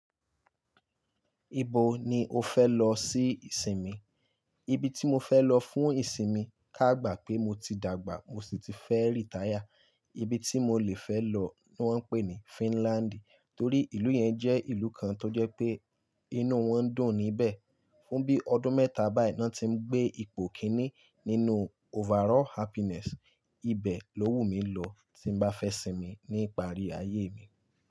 Ibo ni o fẹ́ lọ sí ìsinmi? Ibi tí mo fẹ́ lọ fún ìsinmi káàgbà pé mo ti dàgbà mo sì ti fẹ́ rìtáyà, ibi tí mo lè fẹ́ lọ wọ́n ń pè ní Finland torí ìlú yẹn jẹ́ ìlú kan tó jẹ́ pé inú wọn dùn níbẹ̀. Fún bí ọdún mẹ́ta báyìí náà tí ń gbé ipò kíní nínú overall happiness, ibẹ̀ ló wù mí lọ tí n bá fẹ́ sinmi ní ìparí ayé mi.